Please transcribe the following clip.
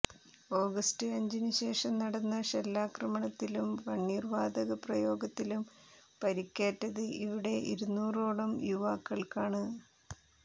August അഞ്ചിനുശേഷം നടന്ന പെല്ലറ്റാക്രമണത്തിലും കണ്ണീര് വാതക പ്രയോഗത്തിലും പരിക്കേറ്റത് ഇവിടെ ഇരുന്നൂറോളം യുവാക്കള്ക്കാണ്